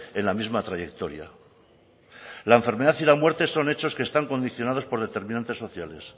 en la misma trayectoria la enfermedad y la muerte son hechos que están condicionados por determinantes sociales